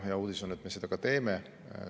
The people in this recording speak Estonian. Hea uudis on, et me seda ka teeme.